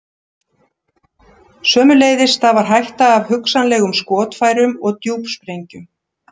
Sömuleiðis stafar hætta af hugsanlegum skotfærum og djúpsprengjum.